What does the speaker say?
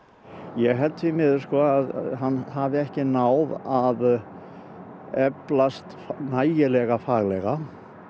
ég held að hann hafi ekki náð að eflast nægilega faglega